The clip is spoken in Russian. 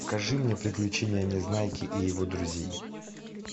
покажи мне приключения незнайки и его друзей